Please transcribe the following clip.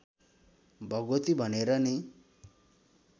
भगवती भनेर नै